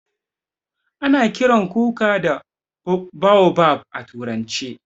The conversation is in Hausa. A na kiran kuka da baobab a turance.